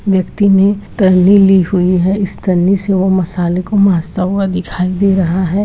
व्यक्ति ने टल्ली ली हुई है इस से वो टल्ली मसाले को मासता दिखाई दे रहा है।